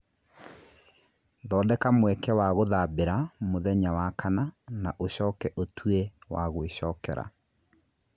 Thondeka mweke wa gũthambĩra mũthenya wa kana na ũcoke ũtue wa gwĩcokera